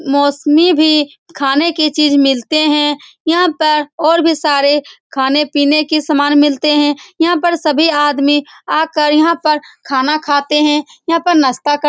मौसमी भी खाने के चीज़ मिलते हैं यहाँ पर और भी सारे खाने-पीने के सामान मिलते हैं यहाँ सभी आदमी आकर यहाँ पर खाना खाते है यहाँ पर नास्ता करते है ।